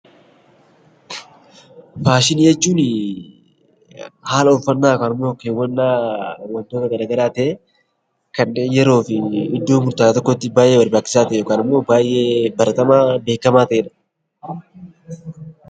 Faashinii jechuuni haala uffannaa yookaan ammoo keewwannaa wantoota gara garaa ta'ee, kanneen yeroo fi iddoo murtaawaa tokkotti baay'ee barbaachisaa tr a'e yookaan ammoo baay'ee baratamaa ta'e dha.